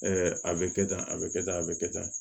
a bɛ kɛ tan a bɛ kɛ tan a bɛ kɛ tan